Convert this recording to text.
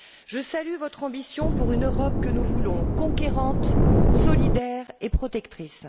Je salue votre ambition pour une Europe que nous voulons conquérante, solidaire et protectrice.